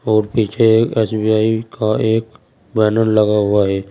और पीछे एस_बी_आई का एक बैनर लगा हुआ है।